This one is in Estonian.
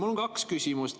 Mul on kaks küsimust.